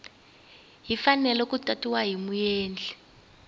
fanele ku tatiwa hi muendli